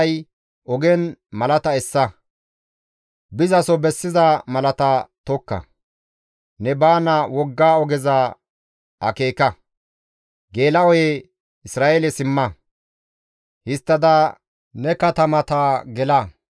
GODAY, «Ogen malata essa; bizaso bessiza malata tokka; ne baana wogga ogeza akeeka; geela7oye Isra7eele simma; histtada ne katamata gela.